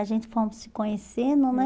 A gente fomos se conhecendo, né?